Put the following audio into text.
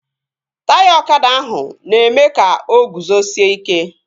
Taya ọkada ahụ na-eme ka o guzosie ike